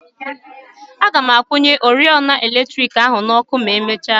Agam akwụnye oriọna eletriki ahụ n'ọkụ ma emechia.